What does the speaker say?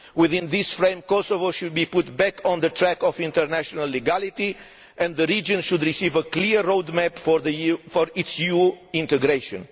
Within this framework Kosovo should be put back on the track of international legality, and the region should receive a clear road map for its EU integration.